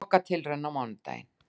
Lokatilraun á mánudaginn